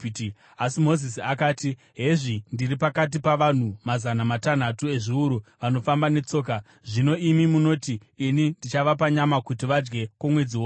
Asi Mozisi akati, “Hezvi ndiri pakati pavanhu mazana matanhatu ezviuru vanofamba netsoka, zvino imi munoti, ‘Ini ndichavapa nyama kuti vadye kwomwedzi wose!’